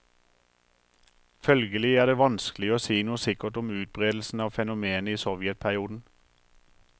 Følgelig er det vanskelig å si noe sikkert om utbredelsen av fenomenet i sovjetperioden.